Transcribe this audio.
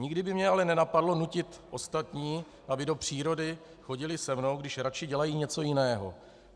Nikdy by mě ale nenapadlo nutit ostatní, aby do přírody chodili se mnou, když raději dělají něco jiného.